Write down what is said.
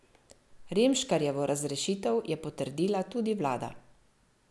Remškarjevo razrešitev je potrdila tudi vlada.